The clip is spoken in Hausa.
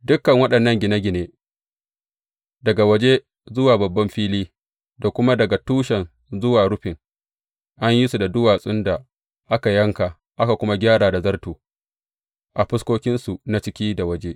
Dukan waɗannan gine gine, daga waje zuwa babban fili, da kuma daga tushen zuwa rufin, an yi su da duwatsun da aka yanka, aka kuma gyara da zarto a fuskokinsu na ciki da waje.